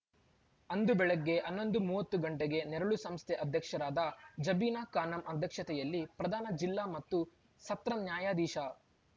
ಅಂದು ಬೆಳಗ್ಗೆ ಹನ್ನೊಂದು ಮೂವತ್ತು ಗಂಟೆಗೆ ನೆರಳು ಸಂಸ್ಥೆ ಅಧ್ಯಕ್ಷರಾದ ಜಬೀನಾ ಖಾನಂ ಅಧ್ಯಕ್ಷತೆಯಲ್ಲಿ ಪ್ರಧಾನ ಜಿಲ್ಲಾ ಮತ್ತು ಸತ್ರ ನ್ಯಾಯಾಧೀಶ